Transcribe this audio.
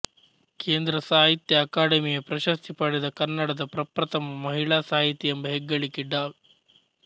ಕೇಂದ್ರ ಸಾಹಿತ್ಯ ಅಕಾಡೆಮಿಯ ಪ್ರಶಸ್ತಿ ಪಡೆದ ಕನ್ನಡದ ಪ್ರಪ್ರಥಮ ಮಹಿಳಾ ಸಾಹಿತಿ ಎಂಬ ಹೆಗ್ಗಳಿಕೆ ಡಾ